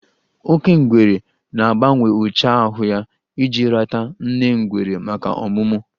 Oke ngwere na-agbanwe ụcha ahụ ya iji rata nne ngwere maka ọmụmụ.